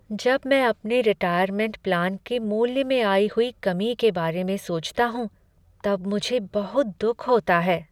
जब मैं अपने रिटायरमेंट प्लान के मूल्य में आई हुई कमी के बारे में सोचता हूँ तब मुझे बहुत दुख होता है।